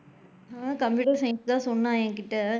Computer science தான் சொன்னா என்கிட்ட,